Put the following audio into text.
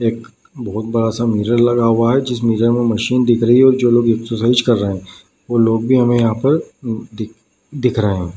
एक बहुत बड़ा सा मिरर लगा हुआ है जिस मिरर में मशीन दिख रही है जो लोग एक्सरसाइज कर रहे है वो लोग भी हमें यहाँ पर दि-दिख रहे है ।